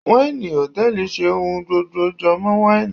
waini hòtẹ́ẹ̀lì ṣe ohun gbogbo jọmọ waini.